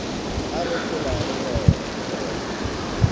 a re phelago go ona